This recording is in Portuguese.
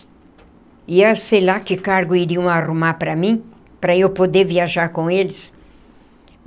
E eu sei lá que cargo iriam arrumar para mim, para eu poder viajar com eles.